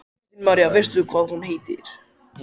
Kristín María: Veistu hvað hún heitir?